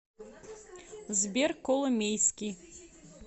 сбер коломейский